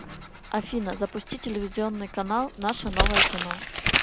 афина запусти телевизионный канал наше новое кино